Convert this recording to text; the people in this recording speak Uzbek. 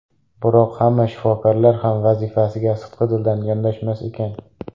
Biroq hamma shifokorlar ham vazifasiga sidqidildan yondashmas ekan.